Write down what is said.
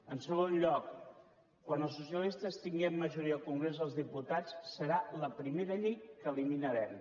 en segon lloc quan els socialistes tinguem majoria al congrés dels diputats serà la primera llei que eliminarem